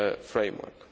financial